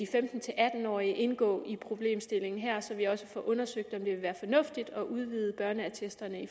femten til atten årige indgå i problemstillingen her så vi også får undersøgt om det vil være fornuftigt at udvide børneattestordningen